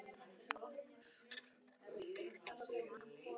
Tíðni og tegund atvinnusjúkdóma er því breytileg eftir starfi.